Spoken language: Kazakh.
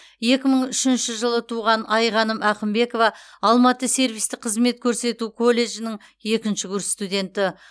екі мың үшінші жылы туған айғаным ақымбекова алматы сервистік қызмет көрсету колледжінің екінші курс студенті